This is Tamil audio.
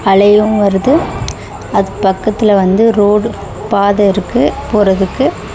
அலையு வருது அது பக்கத்துல வந்து ரோடு பாத இருக்கு போறதுக்கு.